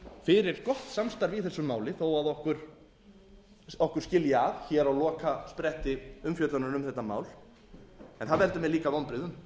fyrir gott samstarf í þessu máli þó að okkur skilji að hér á lokaspretti umfjöllunar um þetta mál en það veldur mér líka vonbrigðum